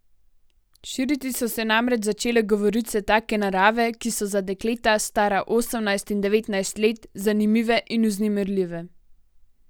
Širiti so se namreč začele govorice take narave, ki so za dekleta, stara osemnajst in devetnajst let, zanimive in vznemirljive.